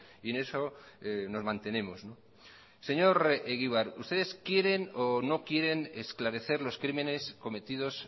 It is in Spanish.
y en eso nos mantenemos señor egibar ustedes quieren o no quieren esclarecer los crímenes cometidos